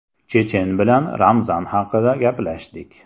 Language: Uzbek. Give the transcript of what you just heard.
Chechen bilan Ramzan haqida gaplashdik.